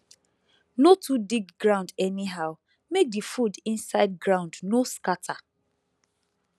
no too dig ground anyhow make the food inside ground no scatter